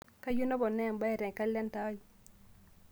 kayieu naponaa embae te kalenda ai